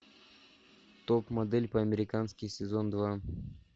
топ модель по американски сезон два